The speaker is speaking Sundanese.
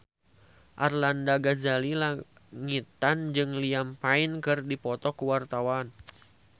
Arlanda Ghazali Langitan jeung Liam Payne keur dipoto ku wartawan